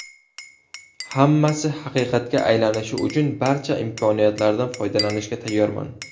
Hammasi haqiqatga aylanishi uchun barcha imkoniyatlardan foydalanishga tayyorman”.